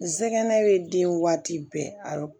Nsɛgɛnnaw ye den waati bɛɛ a